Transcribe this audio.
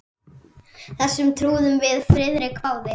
Þessu trúðum við Friðrik báðir.